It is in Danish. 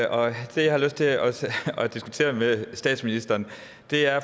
diskutere med statsministeren er